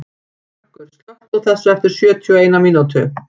Börkur, slökktu á þessu eftir sjötíu og eina mínútur.